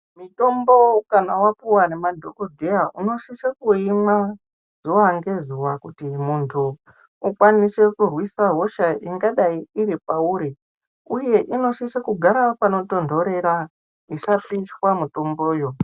Mitombo kana wapiwa nge madhokodheya unosisa kuimwa zuwa ngezuwa kuti ukwanise kurwisa hosha ingadai iripauri uye inosisa kugara pano tonhorera isapishwa mitombo yo.